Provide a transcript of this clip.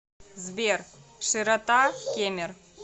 сбер широта кемер